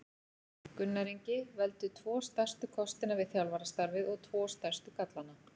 Gunnar Ingi Veldu tvo stærstu kostina við þjálfarastarfið og tvo stærstu gallana?